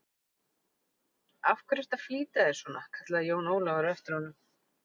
Af hverju ertu að flýta þér svona, kallaði Jón Ólafur á eftir honum.